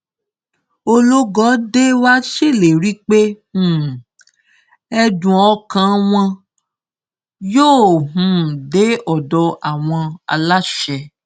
ológọdé wàá ṣèlérí pé um ẹdùn ọkàn wọn yóò um dé ọdọ àwọn aláṣẹ